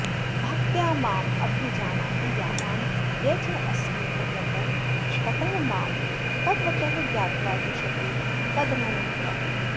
भक्त्या माम् अभिजानाति यावान् यः च अस्मि तत्त्वतः ततः मां तत्त्वतः ज्ञात्वा विशते तदनन्तरम्